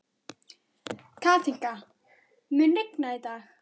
Kathinka, mun rigna í dag?